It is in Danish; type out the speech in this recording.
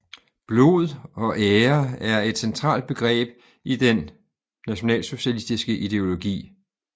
Blod og ære er et centralt begreb i den nationalsocialistiske ideologi